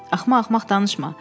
Axmaq-axmaq danışma.